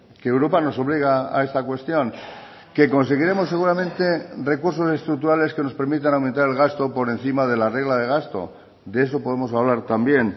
que europa nos obliga a esta cuestión que conseguiremos seguramente recursos estructurales que nos permitan aumentar el gasto por encima de la regla de gasto de eso podemos hablar también